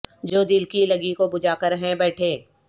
جو دل کی لگی کو بجھا کر ہیں بیٹھے